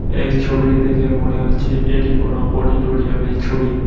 এই ছবিটি দেখে মনে হচ্ছে এটি কোন অডিটোরিয়ামের ছবি।